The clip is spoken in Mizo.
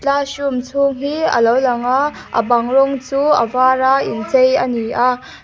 classroom chhung hi a lo lang a a bang rawng chu a var a inchei a ni a.